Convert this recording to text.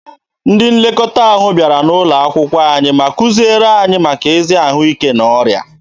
Ndị nlekọta ahụ bịara N'ụlọakwụkwọ anyị ma kuziere anyị maka ezi ahụike na ọrịa.